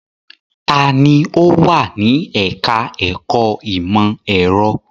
Ta ni ó wà ní ẹ̀ka-ẹ̀kọ́ ìmọ̀-ẹ̀rọ?